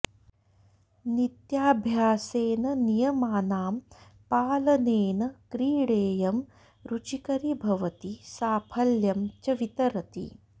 नित्याभ्यासेन नियमानां पालनेन क्रीडेयं रुचिकरी भवति साफल्यं च वितरति